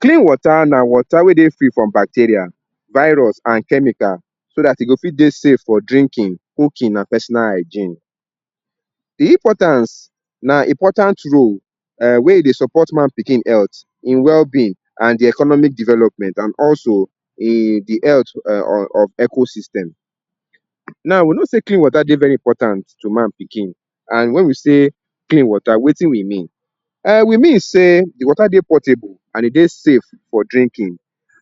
Clean water na water wey dey free from bacteria, virus an chemical so dat e go fit dey safe for drinking, cooking, and personal hygiene. The importance na important role um wey e dey support man pikin health, ein wellbeing, and the economic development, and also um the health um of ecosystem. Now, we know sey clean water dey very important to man pikin, and wen we say clean water, wetin we mean? um We mean sey the water dey portable and e dey safe for drinking.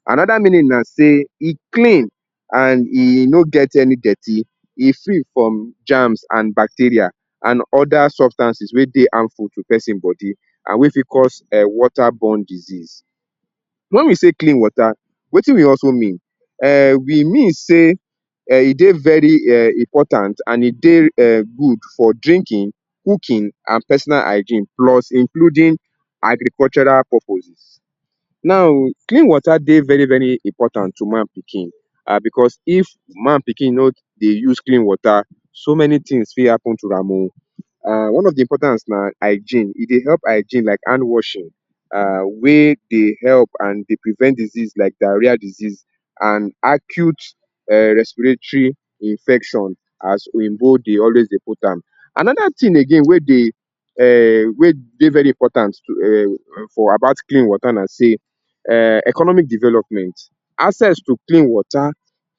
Another meaning na sey e clean and e no get any dirty. E free from germs and bacteria an also substances wey dey harmful to peson body and wey fit cause um water-borne disease. Wen we say clean water, wetin we also mean? um We mean sey um e dey very um important and e dey um good for drinking, cooking, an personal hygiene plus including agricultural purposes. Now, clean water dey very very important to man pikin um becos if man pikin no dey use clean water, so many tins fit happen to am oh. um One of the importance na hygiene. E dey help hygiene like handwashing um wey dey help and dey prevent disease like diarrhea disease an acute um respiratory infection as oyinbo dey always dey put am. Another tin again wey dey um wey dey very important to um for about clean water na sey um economic development. Access to clean water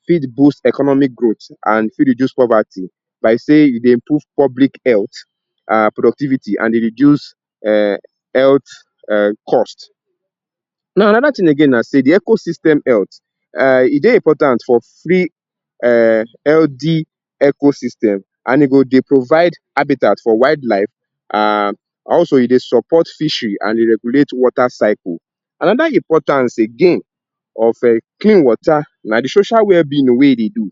fit boost economic growth and fit reduce poverty like sey you dey improve public health, um productivity, and dey reduce um health um cost. Now, another tin again na sey the ecosystem health um e dey important for free um healthy ecosystem, an e go dey provide habitat for wildlife, um an also e dey support fishery and dey regulate water cycle. Another importance again of um clean water na the social wellbeing oh wey e dey do. um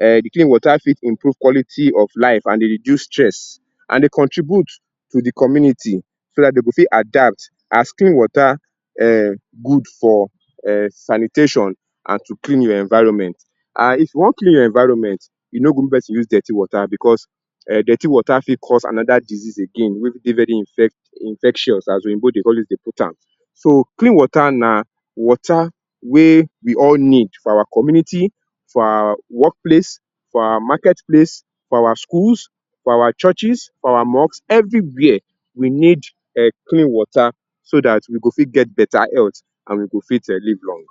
The clean water fit improve quality of life an dey reduce stress, an dey contribute to the community so dat de go fit adapt as clean water um good for um sanitation an to clean your environment. um If you wan clean your environment, e no good make peson use dirty water becos um dirty water fit cause another disease again wey dey very infect infectious as oyinbo dey always dey put am. So, clean water na water wey we all need for our community, for our work place, for our market place, for our schools, for our churches, for our mosques, everywhere, we need um clean water so dat we go fit get beta health an we go fit um live long.